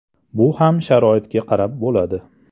Bu ham sharoitga qarab bo‘ladi.